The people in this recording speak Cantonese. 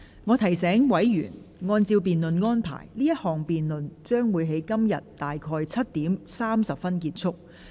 我提醒委員，按照辯論安排，此項辯論將於今天約7時30分結束。